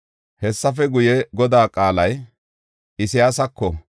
Hessafe guye, Godaa qaalay Isayaasako,